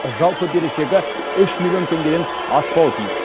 жалпы берешегі үш миллион теңгеден аспауы тиіс